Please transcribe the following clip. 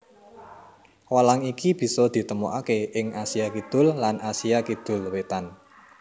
Walang iki bisa ditemokaké ing Asia Kidul lan Asia Kidul Wétan